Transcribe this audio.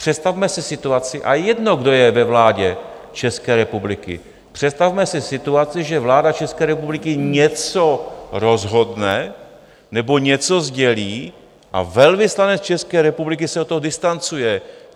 Představme si situaci, a jedno, kdo je ve vládě České republiky, představme si situaci, že vláda České republiky něco rozhodne nebo něco sdělí a velvyslanec České republiky se od toho distancuje.